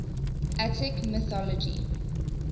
attic mythology